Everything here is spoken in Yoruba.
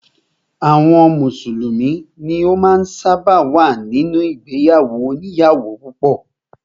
Àwọn mùsùlùmí ni ó ṣábà máa ń wà nínú ìgbéyàwó òníyàwó púpọ̀.